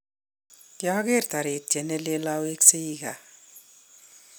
kiageer toritiet neleel awekseii kaa